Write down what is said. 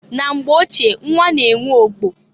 Na mgbe ochie nnwa na enwe ogbo.